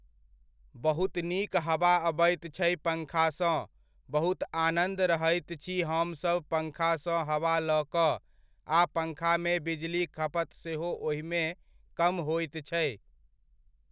बहुत नीक हवा अबैत छै पङ्खासँ, बहुत आनन्द रहैत छी हमसब पङ्खासँ हवा लऽ कऽ आ पङ्खामे बिजलीक खपत सेहो ओहिमे कम होइत छै।